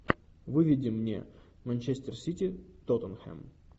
выведи мне манчестер сити тоттенхэм